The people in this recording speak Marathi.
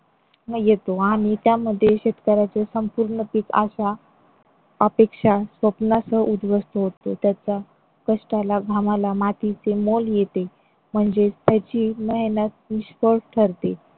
येतो आणि त्यामध्ये शेतकऱ्यांचे संपूर्ण पीक आशा अपेक्षा स्वप्नासह उद्ध्वस्त होते. त्याच्या कष्टाला घामाला मातीचे मोल येते म्हणजे त्याची मेहनत निष्फळ ठरते